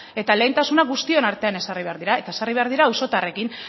eta lehentasuna guztion artean ezarri behar dira eta ezarri behar dira auzotarrekin